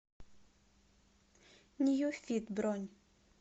ньюфит бронь